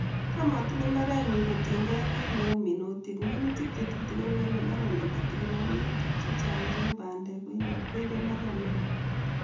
Tam atilei mbarenyu kotiengei kiit neuminuutik, minuutik che tutikin koibe mbaret nekitikin ak minuutik chechang cheu bandeek koibe mbaret ne oo.